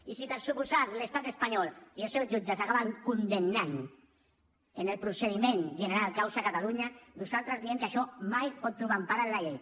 i si per descomptat l’estat espanyol i els seus jutges acaben condemnant en el procediment general causa catalunya nosaltres diem que això mai pot trobar empara en la llei